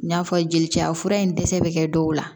N y'a fɔ jelicɛ fura in dɛsɛ be kɛ dɔw la